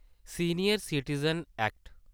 senior citizen act